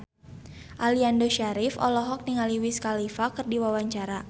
Aliando Syarif olohok ningali Wiz Khalifa keur diwawancara